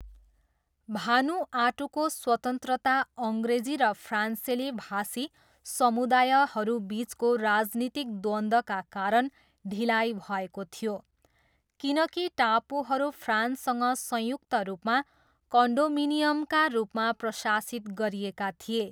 भानुआटूको स्वतन्त्रता अङ्ग्रेजी र फ्रान्सेली भाषी समुदायहरू बिचको राजनीतिक द्वन्द्वका कारण ढिलाइ भएको थियो, किनकि टापुहरू फ्रान्ससँग संयुक्त रूपमा कन्डोमिनियमका रूपमा प्रशासित गरिएका थिए।